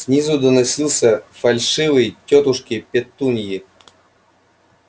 снизу доносился фальшивый тётушки петуньи